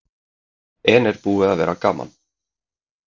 En er búið að vera gaman?